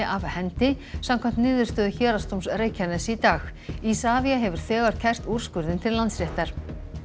af hendi samkvæmt niðurstöðu Héraðsdóms Reykjaness í dag Isavia hefur þegar kært úrskurðinn til Landsréttar